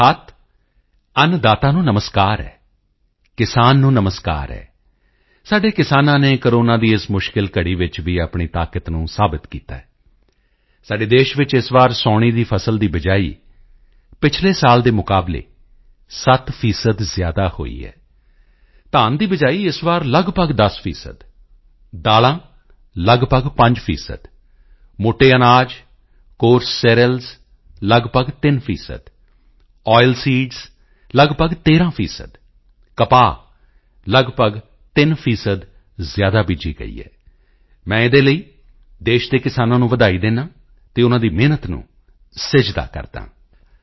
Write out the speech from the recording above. ਅਰਥਾਤ ਅੰਨਦਾਤਾ ਨੂੰ ਨਮਸਕਾਰ ਹੈ ਕਿਸਾਨ ਨੂੰ ਨਮਸਕਾਰ ਹੈ ਸਾਡੇ ਕਿਸਾਨਾਂ ਨੇ ਕੋਰੋਨਾ ਦੀ ਇਸ ਮੁਸ਼ਕਿਲ ਘੜੀ ਵਿੱਚ ਵੀ ਆਪਣੀ ਤਾਕਤ ਨੂੰ ਸਾਬਿਤ ਕੀਤਾ ਹੈ ਸਾਡੇ ਦੇਸ਼ ਵਿੱਚ ਇਸ ਵਾਰ ਸਾਉਣੀ ਦੀ ਫਸਲ ਦੀ ਬਿਜਾਈ ਪਿਛਲੇ ਸਾਲ ਦੇ ਮੁਕਾਬਲੇ 7 ਪ੍ਰਤੀਸ਼ਤ ਜ਼ਿਆਦਾ ਹੋਈ ਹੈ ਧਾਨ ਦੀ ਬਿਜਾਈ ਇਸ ਵਾਰ ਲਗਭਗ 10 ਪ੍ਰਤੀਸ਼ਤ ਦਾਲ਼ਾਂ ਲਗਭਗ 5 ਪ੍ਰਤੀਸ਼ਤ ਮੋਟੇ ਅਨਾਜ ਕੋਰਸ ਸੀਰੀਅਲਜ਼ ਲਗਭਗ 3 ਪ੍ਰਤੀਸ਼ਤ ਆਇਲਸੀਡਜ਼ ਲਗਭਗ 13 ਪ੍ਰਤੀਸ਼ਤ ਕਪਾਹ ਲਗਭਗ 3 ਪ੍ਰਤੀਸ਼ਤ ਜ਼ਿਆਦਾ ਬੀਜੀ ਗਈ ਹੈ ਮੈਂ ਇਹਦੇ ਲਈ ਦੇਸ਼ ਦੇ ਕਿਸਾਨਾਂ ਨੂੰ ਵਧਾਈ ਦਿੰਦਾ ਹਾਂ ਤੇ ਉਨ੍ਹਾਂ ਦੀ ਮਿਹਨਤ ਨੂੰ ਸਿਜਦਾ ਕਰਦਾ ਹਾਂ